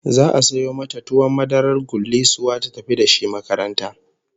Za'a sayo mata tuwon madarar gullisuwa ta tafi da shi makaranta